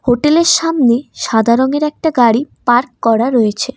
হোটেলের সামনে সাদা রঙের একটা গাড়ি পার্ক করা রয়েছে।